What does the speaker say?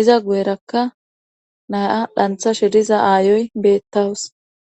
iza guyerakka na7a dhanthashe diza aayoy beettawus.